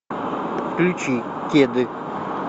включи кеды